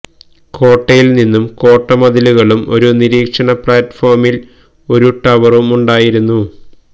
കോട്ടയിൽ നിന്നും കോട്ട മതിലുകളും ഒരു നിരീക്ഷണ പ്ലാറ്റ്ഫോമിൽ ഒരു ടവറുമുണ്ടായിരുന്നു